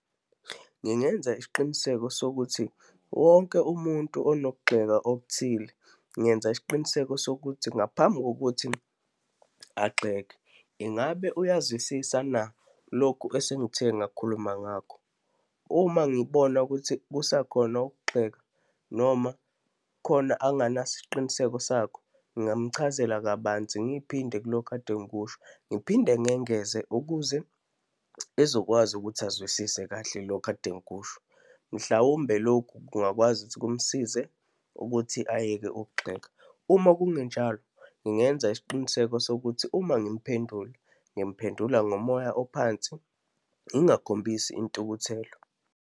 Ngingenza isiqiniseko sokuthi wonke umuntu okunokugxeka okuthile, ngenza isiqiniseko sokuthi ngaphambi kokuthi agxeke, ingabe uyazwisisa na lokhu esengithe ngakhuluma ngakho. Uma ngibona ukuthi kusakhona ukugxeka noma khona anginasiqiniseko sakho, ngingamchazela kabanzi ngiphinde kuloko kade ngikusho, ngiphinde ngengeze ukuze ezokwazi ukuthi azwisise kahle lokhu ade ngikusho. Mhlawumbe lokhu, kungakwazi ukuthi kumsize ukuthi ayeke ukugxeka. Uma kungenjalo, ngingenza isiqiniseko sokuthi uma ngimphendula, ngimphendula ngomoya ophansi, ngingakhombisi intukuthelo.